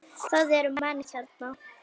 Það eru menn hérna!